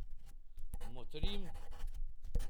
Motrim.